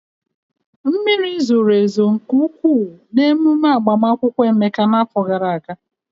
Mmiri zoro ezo nke ụkwụụ n'emume agbamakwụkwọ Emeka n'afọ gara aga.